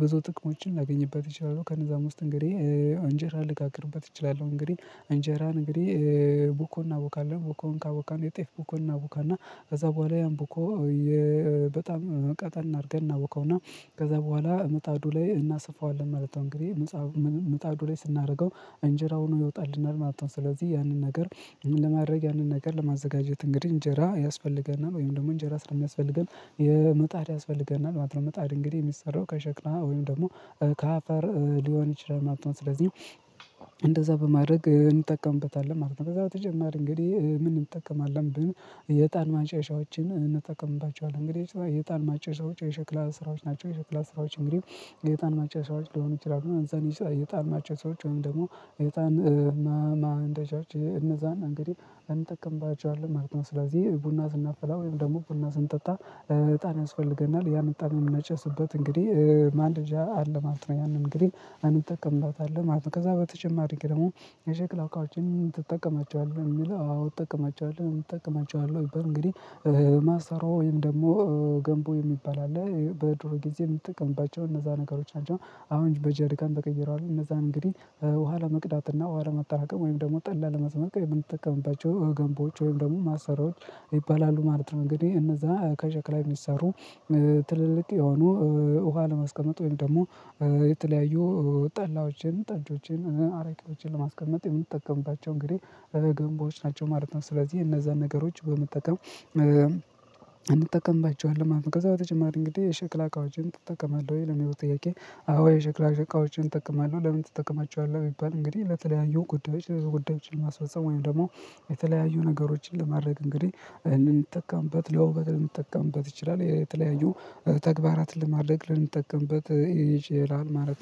ብዙ ጥቅሞችን ላገኝበት እችላለው። ከነዛም እንጀራ ልጋግርበት እችላለሁ። እንግዲህ እንጀራ እንግዲህ ቡኮ እናቦካለን ቡኮን ካቦካን የጤፍ ቡኮን እናቦካና ከዛ በኋላ ያን ቡኮ በጣም ቀጠን አድርገን እናቦካውና ከዛ በኋላ ምጣዱ ላይ እናሰፋዋለን ማለት ነው። እንግዲህ ምጣዱ ላይ ስናደርገው እንጀራ ሆኖ ይወጣልናል ማለት ነው። ስለዚህ ያንን ነገር ለማድረግ ያንን ነገር ለማዘጋጀት እንግዲህ እንጀራ ያስፈልገናል ወይም ደግሞ እንጀራ ስለሚያስፈልገን የምጣድ ያስፈልገናል ማለት ነው። ምጣድ እንግዲህ የሚሰራው ከሸክላ ወይም ደግሞ ከአፈር ሊሆን ይችላል ማለት ነው። ስለዚህ በማድረግ እንጠቀምበታለን ማለት ነው። ከዛ በተጨማሪ እንግዲህ ምን እንጠቀማለን ብንል የዕጣን ማጨሻዎችን እንጠቀምባቸዋለን እንግዲህ የዕጣን ማጨሻዎች የሸክላ ስራዎች ናቸው። የሸክላ ስራዎች እንግዲህ የዕጣን ማጨሻዎች ሊሆኑ ይችላሉ እነዛን የዕጣን ማጨሻዎች ወይም ደግሞ የዕጣን እነዛን እንግዲህ እንጠቀምባቸዋለን ማለት ነው። ስለዚህ ቡና ስናፈላ ወይም ደግሞ ቡና ስንጠጣ እጣን ያስፈልገናል ያን እጣን የምናጨስበት እንግዲህ ማንደጃ አለ ማለት ነው። ያንን እንግዲህ እንጠቀምበታለው ማለት ነው። ከዛ በተጨማሪ ደግሞ የሸክላ እቃዎችን ትጠቀማቸዋለህ የሚለው አዎ እጠቀማቸዋለው እጠቀማቸዋለህ ቢባል እንግዲህ ማሰሮ ወይም ደግሞ ገንቦ የሚባል አለ በድሮ ጊዜ የምጠቀምባቸው እነዛ ነገሮች አሉ አሁን በጄሪካን ተቀይረዋል እነዛ እንግዲህ ውሃ መቅዳትና ውሃ ለማጠራቀም ወይም ደግሞ ጠላ ለመጥመቅ የምንጠቀምባቸው ገንቦች ወይም ደግሞ ማሰሮዎች ይባላሉ ማለት ነው። እንግዲህ እነዛ ከሸክላ የሚሰሩ ትልልቅ የሆኑ ውሃ ለማስቀመጥ ወይም ደግሞ የተለያዩ ጠላዎችን ጠጆችን አረቄዎችን ለማስቀመጥ የምንጠቀምባቸው እንግዲህ ገንቦዎች ናቸው ማለት ነው። ስለዚህ እነዛን ነገሮች በመጠቀም እንጠቀምባቸዋለን ማለት ነው። ከዛ በተጨማሪ እንግዲህ የሸክላ እቃዎችን ትጠቀማለህ ወይ ለሚለው ጥያቄ አዎ የሸክላ እቃዎችን እጠቀማለሁ ለምን ትጠቀማቸዋለህ ቢባል እንግዲህ ለተለያዩ ጉዳዮች ለጉዳዮች ማስፈጸም ወይም ደግሞ የተለያዩ ነገሮችን ለማድረግ እንግዲህ ልንጠቀምበት ለውበት ልንጠቀምበት ይችላል የተለያዩ ተግባራትን ለማድረግ ልንጠቀምበት ይችላል ማለት